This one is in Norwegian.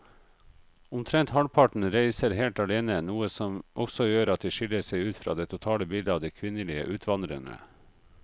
Omtrent halvparten reiser helt alene, noe som også gjør at de skiller seg ut fra det totale bildet av de kvinnelige utvandrerne.